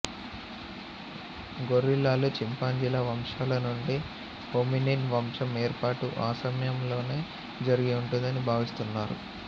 గొరిల్లాలు చింపాంజీల వంశాల నుండి హోమినిన్ వంశం వేర్పాటు ఆ సమయంలోనే జరిగి ఉంటుందని భావిస్తున్నారు